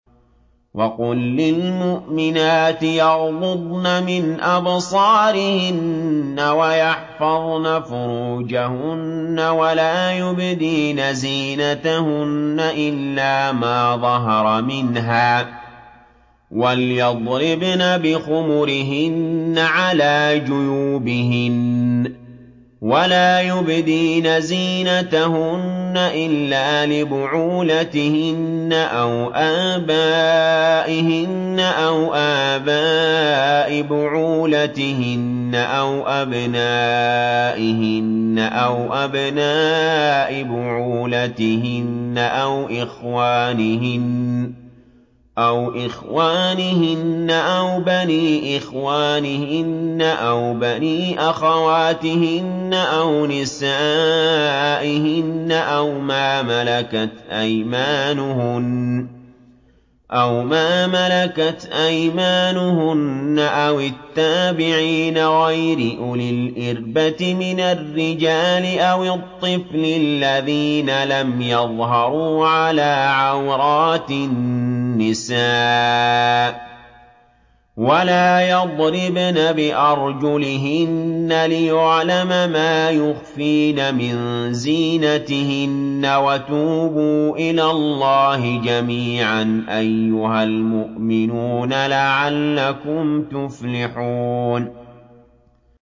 وَقُل لِّلْمُؤْمِنَاتِ يَغْضُضْنَ مِنْ أَبْصَارِهِنَّ وَيَحْفَظْنَ فُرُوجَهُنَّ وَلَا يُبْدِينَ زِينَتَهُنَّ إِلَّا مَا ظَهَرَ مِنْهَا ۖ وَلْيَضْرِبْنَ بِخُمُرِهِنَّ عَلَىٰ جُيُوبِهِنَّ ۖ وَلَا يُبْدِينَ زِينَتَهُنَّ إِلَّا لِبُعُولَتِهِنَّ أَوْ آبَائِهِنَّ أَوْ آبَاءِ بُعُولَتِهِنَّ أَوْ أَبْنَائِهِنَّ أَوْ أَبْنَاءِ بُعُولَتِهِنَّ أَوْ إِخْوَانِهِنَّ أَوْ بَنِي إِخْوَانِهِنَّ أَوْ بَنِي أَخَوَاتِهِنَّ أَوْ نِسَائِهِنَّ أَوْ مَا مَلَكَتْ أَيْمَانُهُنَّ أَوِ التَّابِعِينَ غَيْرِ أُولِي الْإِرْبَةِ مِنَ الرِّجَالِ أَوِ الطِّفْلِ الَّذِينَ لَمْ يَظْهَرُوا عَلَىٰ عَوْرَاتِ النِّسَاءِ ۖ وَلَا يَضْرِبْنَ بِأَرْجُلِهِنَّ لِيُعْلَمَ مَا يُخْفِينَ مِن زِينَتِهِنَّ ۚ وَتُوبُوا إِلَى اللَّهِ جَمِيعًا أَيُّهَ الْمُؤْمِنُونَ لَعَلَّكُمْ تُفْلِحُونَ